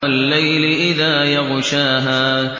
وَاللَّيْلِ إِذَا يَغْشَاهَا